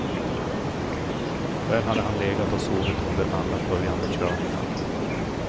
Där hade han legat och sovit under alla följande körningar.